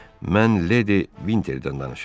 Mən Ledli Vinterdən danışıram.